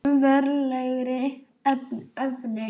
Um veraldlegri efni